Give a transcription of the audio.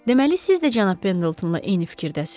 Deməli siz də cənab Pendletonla eyni fikirdəsiz.